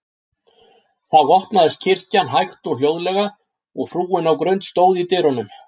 Þá opnaðist kirkjan hægt og hljóðlega, og frúin á Grund stóð í dyrunum.